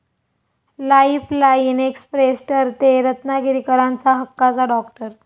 Lifeline express' ठरतेय रत्नागिरीकरांचा हक्काचा 'डाॅक्टर'!